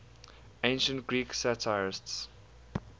ancient greek satirists